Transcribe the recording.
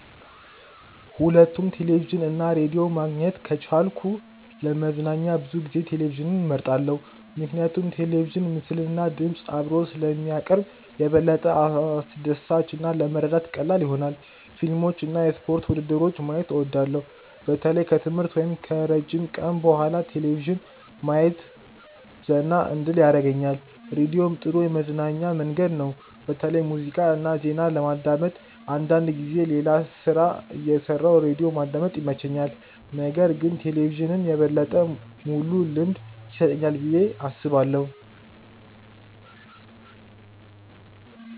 ሁለቱንም ቴሌቪዥን እና ራዲዮ ማግኘት ከቻልኩ ለመዝናኛ ብዙ ጊዜ ቴሌቪዥንን እመርጣለሁ። ምክንያቱም ቴሌቪዥን ምስልና ድምፅ አብሮ ስለሚያቀርብ የበለጠ አስደሳች እና ለመረዳት ቀላል ይሆናል። ፊልሞችን እና የስፖርት ውድድሮችን ማየት እወዳለሁ። በተለይ ከትምህርት ወይም ከረጅም ቀን በኋላ ቴሌቪዥን ማየት ዘና እንድል ያደርገኛል። ራዲዮም ጥሩ የመዝናኛ መንገድ ነው፣ በተለይ ሙዚቃ እና ዜና ለማዳመጥ። አንዳንድ ጊዜ ሌላ ሥራ እየሠራሁ ራዲዮ ማዳመጥ ይመቸኛል። ነገር ግን ቴሌቪዥን የበለጠ ሙሉ ልምድ ይሰጠኛል ብዬ አስባለሁ።